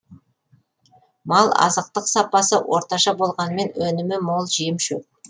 мал азықтық сапасы орташа болғанымен өнімі мол жемшөп